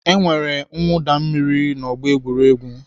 E nwere mwụda mmiri n'ọgbọ egwuregwu.